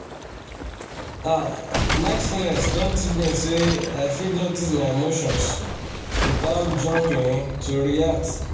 ah mindfulness don teach me say i fit notice my emotions without jumping to react